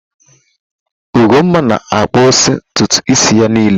Ugonma na akpụsi ntụtụ isi ya nille.